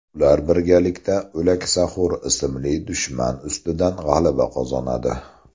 Ular birgalikda O‘laksaxo‘r ismli dushman ustidan g‘alaba qozonadi.